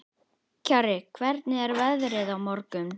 Kjarri, hvernig er veðrið á morgun?